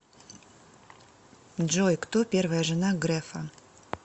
джой кто первая жена грефа